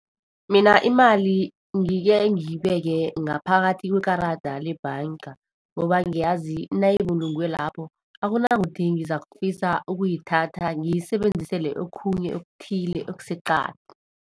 Mina imali ngike ngiyibeke ngaphakathi kwekarada lebhanga, ngoba ngiyazi nayibulungwe lapho, akunakuthi ngizakufisa ukuyithatha ngiyisebenzisele okhunye okuthile okuseqadi.